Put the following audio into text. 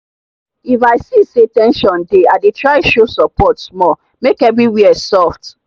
if i see say ten sion dey i dey try show support small make everywhere soft.